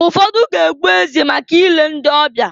Ụfọdụ ga-egbu ezi maka ile ndị ọbịa ọbịa.